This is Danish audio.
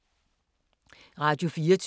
Radio24syv